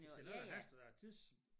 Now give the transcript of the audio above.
Hvis det noget der haster der er tids